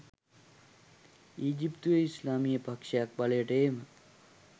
ඊජිප්තුවේ ඉස්ලාමීය පක්ෂයක් බලයට ඒම